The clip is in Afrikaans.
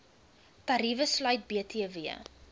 tariewe sluit btw